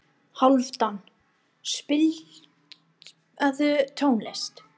Hálfdan, spilaðu tónlist.